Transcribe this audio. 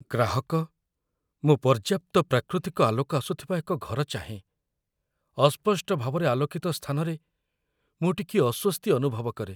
ଗ୍ରାହକ "ମୁଁ ପର୍ଯ୍ୟାପ୍ତ ପ୍ରାକୃତିକ ଆଲୋକ ଆସୁଥିବା ଏକ ଘର ଚାହେଁ, ଅସ୍ପଷ୍ଟ ଭାବରେ ଆଲୋକିତ ସ୍ଥାନରେ ମୁଁ ଟିକିଏ ଅସ୍ୱସ୍ତି ଅନୁଭବ କରେ "